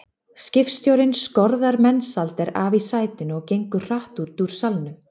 Skipstjórinn skorðar Mensalder af í sætinu og gengur hratt út úr salnum.